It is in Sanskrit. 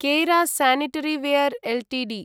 केरा स्यनिटरीवेयर् एल्टीडी